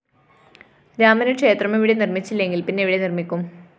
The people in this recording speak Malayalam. രാമന് ക്ഷേത്രം ഇവിടെ നിര്‍മ്മിച്ചില്ലെങ്കില്‍ പിന്നെവിടെ നിര്‍മ്മിക്കും